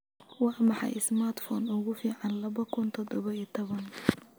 waa maxay smartphone ugu fiican laba kun iyo toddoba iyo toban